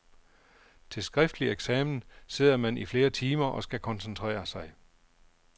Til skriftlig eksamen sidder man i flere timer og skal koncentrere sig.